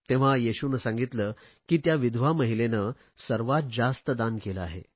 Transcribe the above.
तेव्हा येशूने सांगितले की त्या विधवा महिलेने सर्वात जास्त दान केले आहे